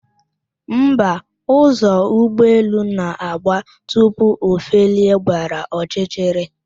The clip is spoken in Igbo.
Mba, ụzọ ụgbọelu na-agba tupu o felie gbara ọchịchịrị